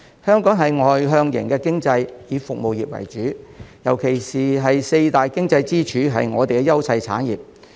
香港是外向型經濟，以服務業為主，尤其四大經濟支柱是我們的優勢產業。